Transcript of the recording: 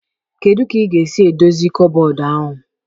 Kedu ka ị ga-esi edozi kọbọd ahụ?